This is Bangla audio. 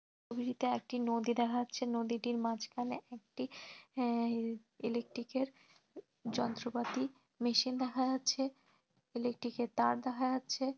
একটি নদী দেখা যাচ্ছে নদীটির মাঝখানে একটি অ্যা ইলেকট্রিক -এর যন্ত্রপাতি মেশিন দেখা যাচ্ছে ইলেকট্রিক -এর তার দেখা যাচ্ছে |